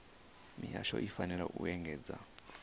mihasho i fanela u engedzedza